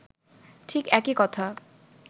ঠিক একই কথা